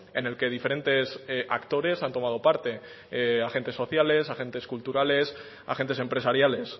en el que diferentes actores han tomado parte agentes sociales agentes culturales agentes empresariales